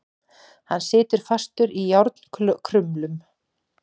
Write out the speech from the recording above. Hann situr fastur í járnkrumlum.